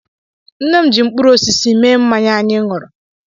Nne m ji mkpụrụ osisi mee mmanya anyị ṅụrụ.